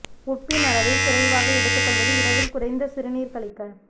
உப்பின் அளவை குறைவாக எடுத்துக் கொள்வது இரவில் குறைந்த சிறுநீர் கழிக்க